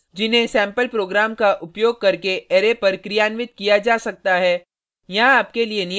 बुनियादि functions जिन्हें sample program का उपयोग करके अरै पर क्रियान्वित किया जा सकता है